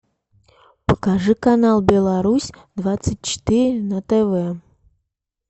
покажи канал беларусь двадцать четыре на тв